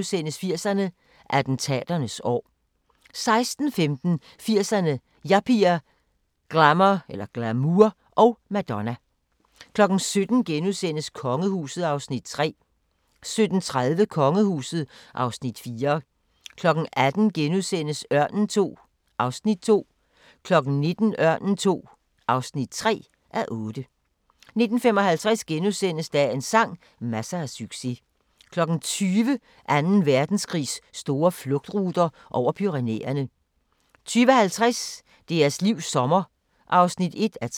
80'erne: Attentaternes år * 16:15: 80'erne: Yuppier, glamour og Madonna 17:00: Kongehuset (Afs. 3)* 17:30: Kongehuset (Afs. 4) 18:00: Ørnen II (2:8)* 19:00: Ørnen II (3:8) 19:55: Dagens sang: Masser af succes * 20:00: Anden Verdenskrigs store flugtruter – over Pyrenæerne 20:50: Deres livs sommer (1:3)